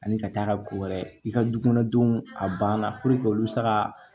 Ani ka taa ka ko wɛrɛ i ka du kɔnɔ denw a banna olu bɛ se ka